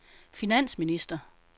finansminister